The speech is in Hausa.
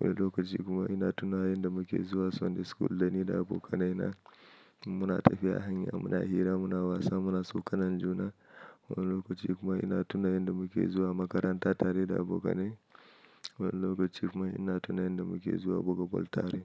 Wani lokaci kuma ina tuna yanda muke zuwa Sunday school dani da abokanai na. Muna tafiya a hanya, muna hira, muna wasa, muna tsokanan juna. Wani lokaci kuma ina tuna yanda muke zuwa makaranta tare da abokanai. Wani lokaci kuma ina tuna yanda muke zuwa buga ball tare.